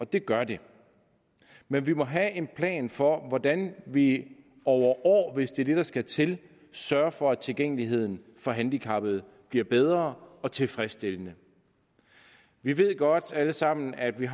det gør det men vi må have en plan for hvordan vi over år hvis det er det der skal til sørger for at tilgængeligheden for handicappede bliver bedre og tilfredsstillende vi ved godt alle sammen at vi